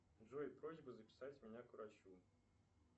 джой просьба записать меня к врачу